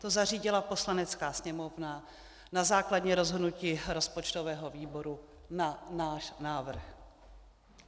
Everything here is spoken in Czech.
To zařídila Poslanecká sněmovna na základě rozhodnutí rozpočtového výboru na náš návrh.